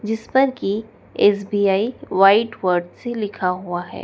जिस पर की एस_बी_आई व्हाइट वर्ड से लिखा हुआ है।